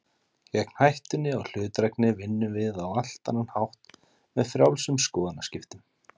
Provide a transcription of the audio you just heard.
Gegn hættunni á hlutdrægni vinnum við á allt annan hátt, með frjálsum skoðanaskiptum.